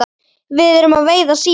Við erum að veiða síli.